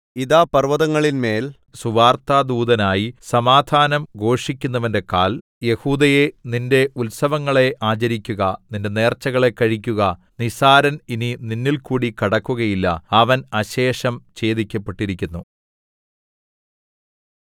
ഇതാ പർവ്വതങ്ങളിന്മേൽ സുവാർത്താദൂതനായി സമാധാനം ഘോഷിക്കുന്നവന്റെ കാൽ യെഹൂദയേ നിന്റെ ഉത്സവങ്ങളെ ആചരിക്കുക നിന്റെ നേർച്ചകളെ കഴിക്കുക നിസ്സാരൻ ഇനി നിന്നിൽകൂടി കടക്കുകയില്ല അവൻ അശേഷം ഛേദിക്കപ്പെട്ടിരിക്കുന്നു